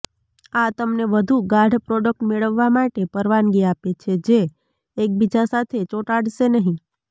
આ તમને વધુ ગાઢ પ્રોડક્ટ મેળવવા માટે પરવાનગી આપે છે જે એકબીજા સાથે ચોંટાડશે નહીં